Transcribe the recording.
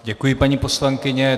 Děkuji, paní poslankyně.